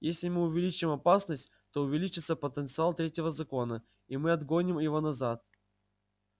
если мы увеличим опасность то увеличится потенциал третьего закона и мы отгоним его назад